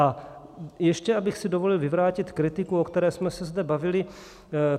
A ještě abych si dovolil vyvrátit kritiku, o které jsme se zde bavili.